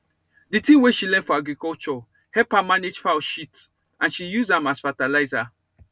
the thing wey she learn for agriculture help her manage fowl shit and she use am as fertilizer